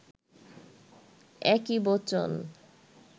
একই বচন